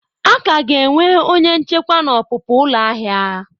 A ka ga-enwe onye nchekwa na ọpụpụ ụlọ ahịa.